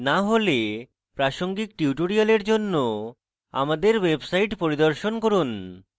না হলে প্রাসঙ্গিক tutorial জন্য আমাদের website পরিদর্শন করুন